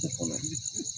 O kɔnɔ